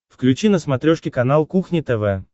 включи на смотрешке канал кухня тв